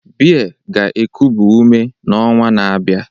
Beer ga-ekubi ume n'ọnwa na-abịa